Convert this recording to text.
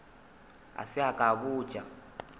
a se ke a botša